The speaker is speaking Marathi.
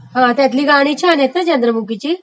हा त्यतली गाणी छान आहेत ना ..चंद्रमुखीतली?